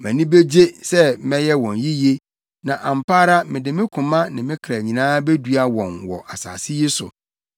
Mʼani begye sɛ mɛyɛ wɔn yiye, na ampa ara mede me koma ne me kra nyinaa bedua wɔn wɔ asase yi so.